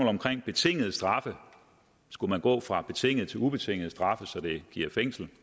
omkring betingede straffe skulle man gå fra betingede til ubetingede straffe så det reelt giver fængsel